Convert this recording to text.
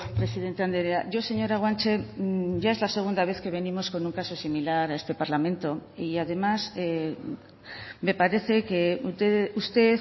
presidente andrea yo señora guanche ya es la segunda vez que venimos con un caso similar a este parlamento y además me parece que usted